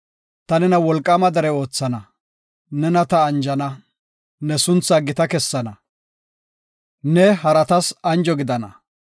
Ta nena wolqaama dere oothana, nena ta anjana ne suntha gita kessana; ne haratas anjo gidana.